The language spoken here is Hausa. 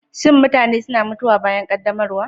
Shin mutane suna mutuwa bayan ƙaddamarwa?